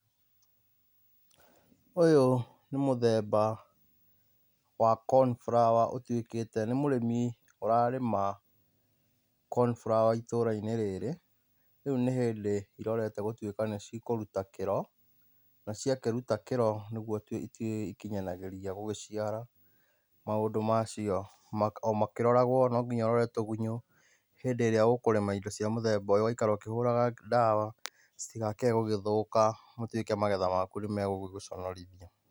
Ũyũ nĩ mũtheba wa cornflower ũtuĩkĩte nĩ mũrĩmi ũrarĩma cornflower itũrainĩ rĩrĩ. Rĩu nĩhĩndĩ irorete gũtuĩka nĩcikũruta kĩro. Na ciakĩruta kĩro nĩrĩo cigũkinyagĩria gũgĩciara. Maũndĩ macio omakĩroragwo nonginya ũrore tĩgunyũ hĩndĩ ĩrĩa ũkũrĩma indo cia mũtheba ũyũ ũgaikara ũkĩhũraga dawa citikage gũgĩthũka gũtuĩke magetha nimagũgũconorithia.